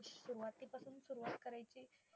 तकरीबन fix service fix service असं मिळून मिळून तकरीबन